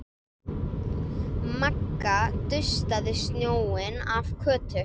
Magga dustaði snjóinn af Kötu.